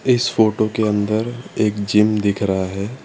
इस फोटो के अंदर एक जिम दिख रहा है।